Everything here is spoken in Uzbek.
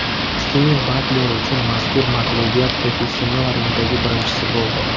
Stiven Batler uchun mazkur mag‘lubiyat professional ringdagi birinchisi bo‘ldi.